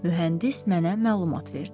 Mühəndis mənə məlumat verdi.